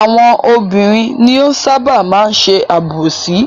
Àwọn obìnrin ni ó ṣábà máa ń ṣe àbòsí.